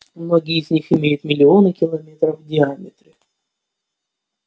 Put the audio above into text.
многие из них имеют миллионы километров в диаметре